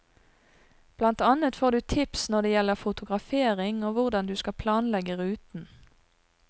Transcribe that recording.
Blant annet får du tips når det gjelder fotografering og hvordan du skal planlegge ruten.